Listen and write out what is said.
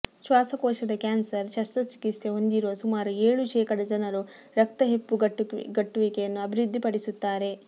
ಶ್ವಾಸಕೋಶದ ಕ್ಯಾನ್ಸರ್ ಶಸ್ತ್ರಚಿಕಿತ್ಸೆ ಹೊಂದಿರುವ ಸುಮಾರು ಏಳು ಶೇಕಡ ಜನರು ರಕ್ತ ಹೆಪ್ಪುಗಟ್ಟುವಿಕೆಯನ್ನು ಅಭಿವೃದ್ಧಿಪಡಿಸುತ್ತಾರೆ